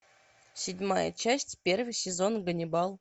седьмая часть первый сезон ганнибал